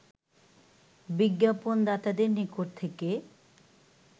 বিজ্ঞাপণদাতাদের নিকট থেকে